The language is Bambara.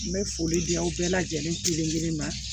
N bɛ foli di aw bɛɛ lajɛlen ma